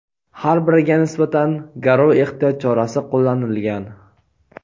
har biriga nisbatan "garov" ehtiyot chorasi qo‘llanilgan.